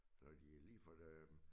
Når de lige for det